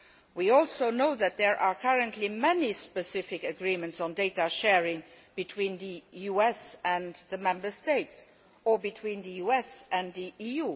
We also know that there are currently many specific agreements on data sharing between the US and the Member States, and between the US and the EU.